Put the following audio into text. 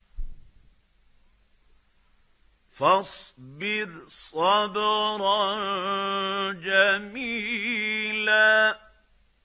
فَاصْبِرْ صَبْرًا جَمِيلًا